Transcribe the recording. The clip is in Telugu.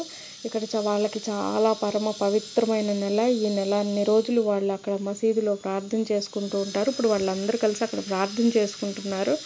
ఇక్కడ వాళ్లకి ఇక్కడ చాలా పవిత్రమైన నేల ఈనెలన్ని రోజులు వాళ్లు అక్కడ మసీదులో ప్రార్థన చేసుకుంటూ ఉంటారు ఇప్పుడు వాళ్ళందరూ కలిసి అక్కడ ప్రార్థన చేసుకుంటున్నారు.